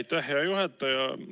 Aitäh, hea juhataja!